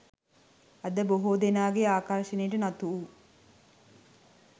අද බොහෝ දෙනාගේ ආකර්ශණයට නතු වූ